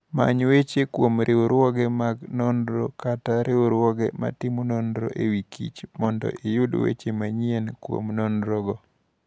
Many weche kuom riwruoge mag nonro kata riwruoge matimo nonro e wi kich mondo iyud weche manyien kuom nonrogo.